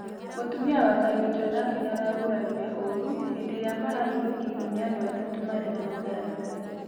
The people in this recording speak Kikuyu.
Mũtũmĩa wa Kariuki onake nĩaragũrarĩre ũrũ hĩndĩ ĩrĩa marahĩthũkĩirwo nĩ andũ atatũ marĩ na matharaĩta